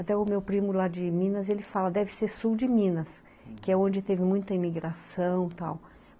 Até o meu primo lá de Minas, ele fala, deve ser sul de Minas, que é onde teve muita imigração e tal.